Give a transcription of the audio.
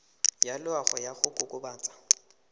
ya loago ya go kokobatsa